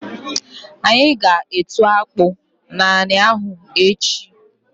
Anyi g'etu akpụ n'anị ahụ echi.